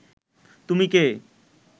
তুমি কে